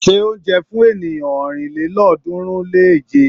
Se oúnjẹ fún ènìyàn ọ̀rìnlélọ́ọ̀ọ́dúnrún-lé-èje.